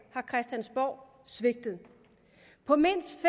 har christiansborg svigtet på mindst